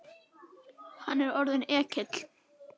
Hann er orðinn ekkill.